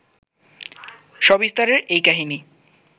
সবিস্তারে এই কাহিনী